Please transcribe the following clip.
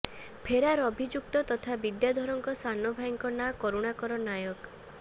ଫେରାର ଅଭିଯୁକ୍ତ ତଥା ବିଦ୍ୟାଧରଙ୍କ ସାନ ଭାଇଙ୍କ ନାଁ କରୁଣାକର ନାୟକ